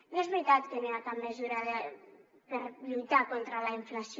no és veritat que no hi ha cap mesura per lluitar contra la inflació